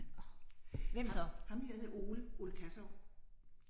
Ham ham her hed Ole. Ole Kassow